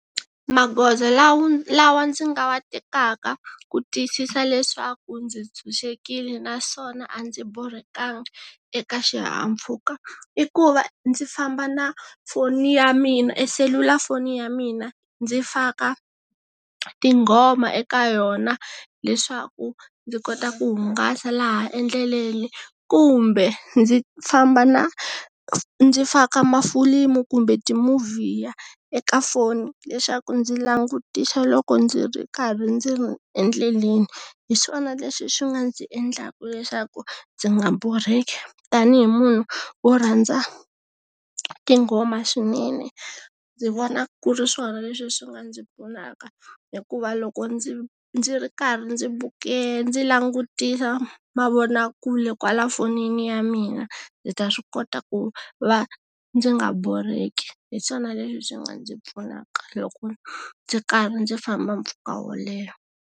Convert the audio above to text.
Magoza lawa lawa ndzi nga wa tekaka, ku tiyisisa leswaku ndzi tshunxekile naswona a ndzi borhekanga, eka xihahampfhuka. I ku va, ndzi famba na, phone ya mina selulafoni ya mina. Ndzi faka, tinghoma eka yona leswaku, ndzi kota ku hungasa laha endleleni. Kumbe, ndzi famba na ndzi faka mafilimu kumbe ti-movie, eka foni. Leswaku ndzi langutisa loko ndzi ri karhi ndzi ri endleleni. Hi swona leswi swi nga ndzi endlaka leswaku, ndzi nga borheki. Tanihi munhu, wo rhandza, tinghoma swinene, ndzi vona ku ri swona leswi swi nga ndzi pfunaka. Hikuva loko ndzi ndzi ri karhi ndzi ndzi langutisa mavonakule kwala fonini ya mina, ndzi ta swi kota ku va, ndzi nga borheki. Hi swona leswi swi nga ndzi pfunaka loko, ndzi karhi ndzi famba mpfhuka wo leha.